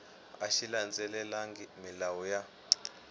a xi landzelelangi milawu ya